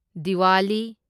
Diwali